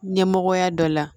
Ɲɛmɔgɔya dɔ la